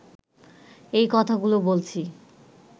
এই কথাগুলো বলছি